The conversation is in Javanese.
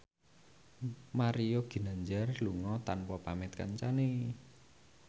Mario Ginanjar lunga tanpa pamit kancane